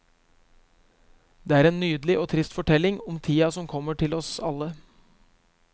Det er en nydelig og trist fortelling om tida som kommer til oss alle.